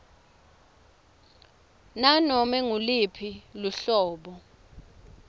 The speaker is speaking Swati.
ngunobe nguluphi luhlobo